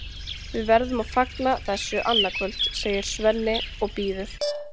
Við verðum að fagna þessu annað kvöld, segir Svenni og býður